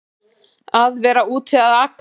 Að vera úti að aka